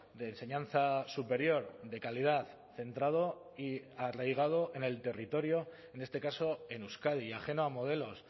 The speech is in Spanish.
de enseñanza superior de calidad centrado y arraigado en el territorio en este caso en euskadi y ajeno a modelos